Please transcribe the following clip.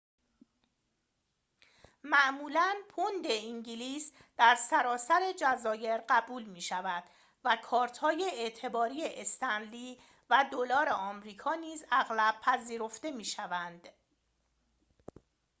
معمولاً پوند انگلیس در سراسر جزایر قبول می‌شود و کارت‌های اعتباری استنلی و دلار آمریکا نیز اغلب پذیرفته می‌شوند